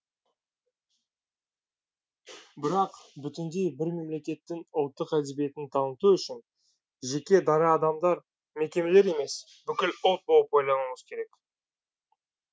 бірақ бүтіндей бір мемлекеттің ұлттық әдебиетін таныту үшін жеке дара адамдар мекемелер емес бүкіл ұлт болып ойлануымыз керек